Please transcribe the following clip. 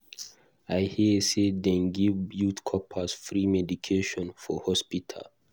I hear say dem dey give youth corpers free medication for hospital.